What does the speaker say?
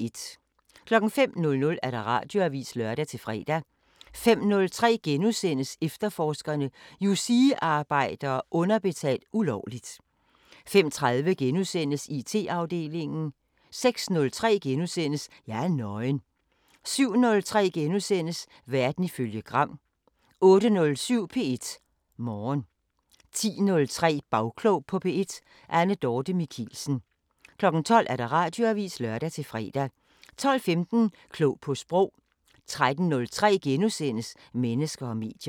05:00: Radioavisen (lør-fre) 05:03: Efterforskerne: Yousee-arbejdere underbetalt ulovligt * 05:30: IT-afdelingen * 06:03: Jeg er nøgen * 07:03: Verden ifølge Gram * 08:07: P1 Morgen 10:03: Bagklog på P1: Anne Dorthe Michelsen 12:00: Radioavisen (lør-fre) 12:15: Klog på Sprog 13:03: Mennesker og medier *